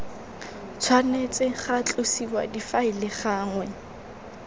tshwanetse ga tlosiwa difaele gangwe